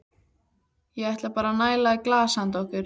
Ég ætla bara að næla í glas handa okkur.